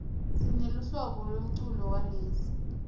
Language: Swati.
sineluhlobo lemculo welezi